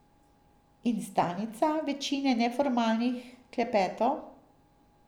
In stalnica večine neformalnih klepetov.